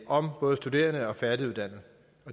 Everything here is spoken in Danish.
om både studerende og færdiguddannede